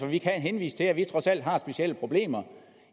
vi kan henvise til at vi trods alt har specielle problemer